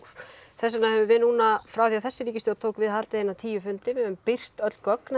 þess vegna höfum við núna frá því að þessi ríkisstjórn tók við haldið tíu fundi við höfum birt öll gögn